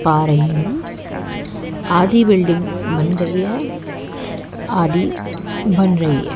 पा रही हूं आधी बिल्डिंग बन गई है आधी बन रही है।